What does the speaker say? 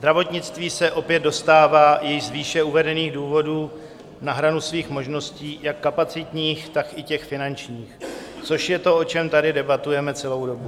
Zdravotnictví se opět dostává i z výše uvedených důvodů na hranu svých možností jak kapacitních, tak i těch finančních, což je to, o čem tady debatujeme celou dobu.